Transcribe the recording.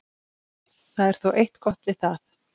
Það er þó eitt gott við það.